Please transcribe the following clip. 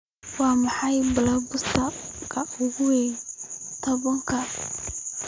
Waa maxay blockbuster-ka ugu weyn todobaadkan?